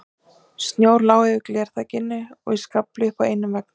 Snjór lá yfir glerþakinu og í skafli upp með einum veggnum.